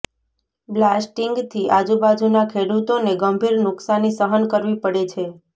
બ્લાસ્ટિંગથી આજુબાજુના ખેડૂતોને ગંભીર નુકસાની સહન કરવી પડે છે